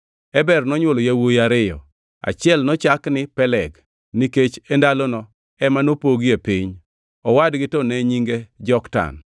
Eber nonywolo yawuowi ariyo: Achiel nochak ni Peleg, nikech e ndalono ema nopogie piny; owadgi to ne nyinge Joktan.